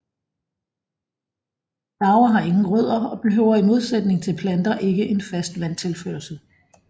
Laver har ingen rødder og behøver i modsætning til planter ikke en fast vandtilførsel